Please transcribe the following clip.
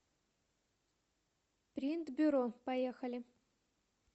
принт бюро поехали